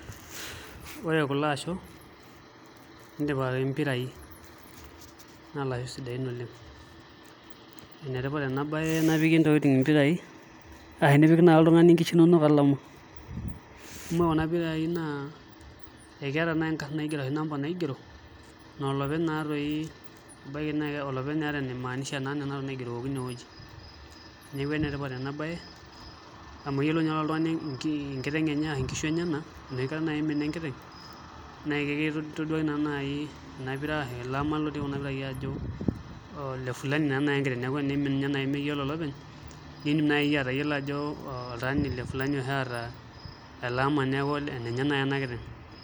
Ore kulo asho netipikaka impirai naa ilasho sidaain oleng' enetipat ena baye napiki ntokitin impirai arashu enipik naai oltung'ani nkishu inonok olama amu ore kuna pirai naa keeta inkarn ashu number naigero naa olopeny naatoi ebaiki neeta entoki naimaanisha nena wuejitin naigerokino inewueji neeku enetipat ena baye amu eyiolou naa oltung'ani enkiteng' ashu nkishu enyenak enoshi kata naai imina enkiteng' naa kakintaduaki naa naai ena pira arashu ele ama otii kuna pirai ajo ole fulani naa naai enkiteng',neeku eniimin ninye naai meyiolo olopeny niidim naai iyie atayiolo ajo oltaani le fulani oshi oota ele neeku enenye naai ena kiteng'